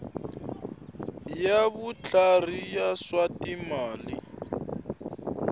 ya vutlhari ya swa timali